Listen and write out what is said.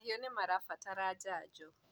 mahiũ nĩmairabatara njanjo